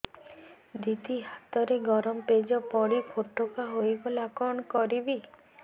ଦିଦି ହାତରେ ଗରମ ପେଜ ପଡି ଫୋଟକା ହୋଇଗଲା କଣ କରିବି